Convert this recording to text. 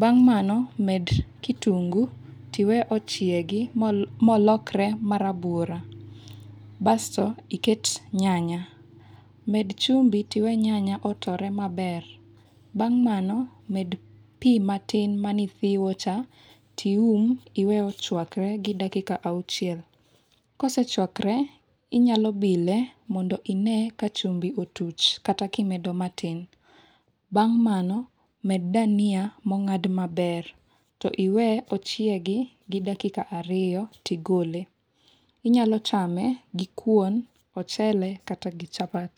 Bang' mano, med kitungu to iwe machiegi molokre marabuor, basto iket nyanya, med chumbi to iwe nyanya otore maber. Bang' mano med pi matin maen ithiwocha. To ium, iwe ochuakre dakika auchiel. Kosechuakre, inyalo bile, mondo ine kachumbi otuch kata kimedo matin. Bang' mano med dania mong'ad maber to iwe ochiegi gi dakika ariyo to igole. Inyalo chame gi kuon, ochele kata gi chapat.